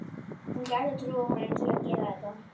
Hún gæti trúað honum til að gera þetta.